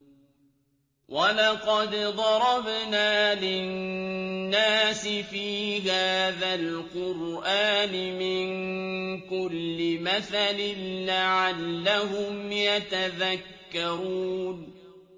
وَلَقَدْ ضَرَبْنَا لِلنَّاسِ فِي هَٰذَا الْقُرْآنِ مِن كُلِّ مَثَلٍ لَّعَلَّهُمْ يَتَذَكَّرُونَ